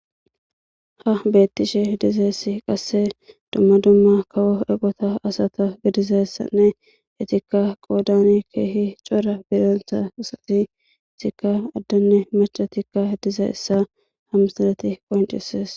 Ha bettishe diizayssi qasse dumma dumma kawo eqqota asata giddidayssane eetika qoddan kehi cora giddonta asati eetika addene maccattika diizayssa ha missiley qonccises.